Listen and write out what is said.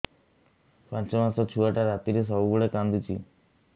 ପାଞ୍ଚ ମାସ ଛୁଆଟା ରାତିରେ ସବୁବେଳେ କାନ୍ଦୁଚି